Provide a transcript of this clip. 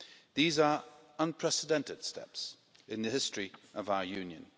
These are unprecedented steps in the history of our Union.